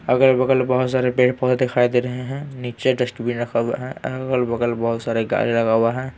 अगल-बगल बहुत सारे पेड़-पौधे दिखाई दे रहे हैं नीचे डस्ट बिन रखा हुआ है अगल-बगल बहुत सारे गाड़ी लगा हुआ है।